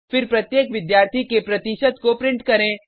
फिर प्रत्येक विद्यार्थी के प्रतिशत को प्रिंट करें